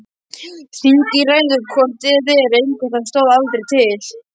Þingið ræður hvort eð er engu það stóð aldrei til.